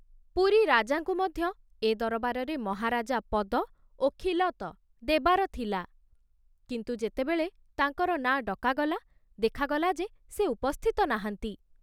ପୁରୀ ରାଜାଙ୍କୁ ମଧ୍ୟ ଏ ଦରବାରରେ ମହାରାଜା ପଦ ଓ ଖିଲତ ଦେବାର ଥିଲା, କିନ୍ତୁ ଯେତେବେଳେ ତାଙ୍କର ନାଁ ଡକାଗଲା, ଦେଖାଗଲା ଯେ ସେ ଉପସ୍ଥିତ ନାହାନ୍ତି।